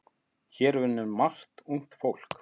Hér vinnur margt ungt fólk.